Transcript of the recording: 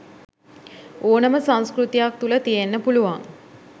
ඕනම සංස්කෘතියක් තුළ තියෙන්න පුළුවන්.